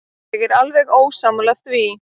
Ég er alveg ósammála því.